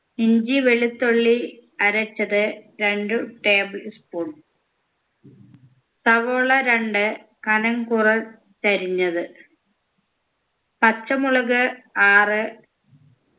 ഇഞ്ചി വെളുത്തുള്ളി അരച്ചത് രണ്ടു table spoon സവോള രണ്ട് കനം കുറ ച്ചരിഞ്ഞത് പച്ചമുളക് ആറ്